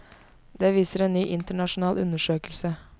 Det viser en ny internasjonal undersøkelse.